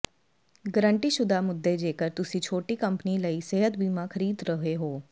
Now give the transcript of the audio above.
ਗਰੰਟੀਸ਼ੁਦਾ ਮੁੱਦੇ ਜੇਕਰ ਤੁਸੀਂ ਛੋਟੀ ਕੰਪਨੀ ਲਈ ਸਿਹਤ ਬੀਮਾ ਖਰੀਦ ਰਹੇ ਹੋ